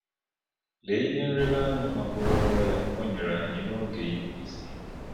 Lee ihe nlereanya magburu onwe ya o nyere anyị n’oge isi ike!